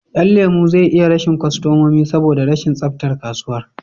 Yan lemo zai iya rashin kostamomi saboda rashin tsaftar kasuwan